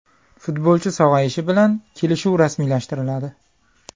Futbolchi sog‘ayishi bilan kelishuv rasmiylashtiriladi.